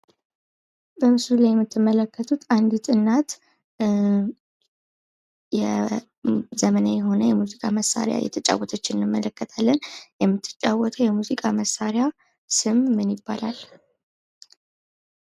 በምስሉ ላይ የምትመለከቱት አንዲት እናት ዘመናዊ የሆነ የሙዚቃ መሳሪያ እየተጫወተች እንመለከታለን ፤ የምትጫወተው የሙዚቃ መሳሪያ ስም ምን ይባላል?